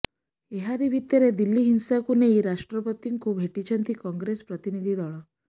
ଏହାରି ଭିତରେ ଦିଲ୍ଲୀ ହିଂସାକୁ ନେଇ ରାଷ୍ଟ୍ରପତିଙ୍କୁ ଭେଟିଛନ୍ତି କଂଗ୍ରେସ ପ୍ରତିନିଧି ଦଳ